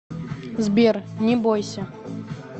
сбер не бойся